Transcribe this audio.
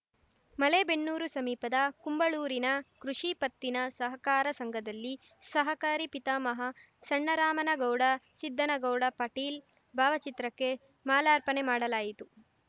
ಮಲೇಬೆನ್ನೂರು ಸಮೀಪದ ಕುಂಬಳೂರಿನ ಕೃಷಿ ಪತ್ತಿನ ಸಹಕಾರ ಸಂಘದಲ್ಲಿ ಸಹಕಾರಿ ಪಿತಾಮಹ ಸಣ್ಣರಾಮನಗೌಡ ಸಿದ್ದನಗೌಡ ಪಾಟೀಲ್‌ ಭಾವಚಿತ್ರಕ್ಕೆ ಮಾಲಾರ್ಪಣೆ ಮಾಡಲಾಯಿತು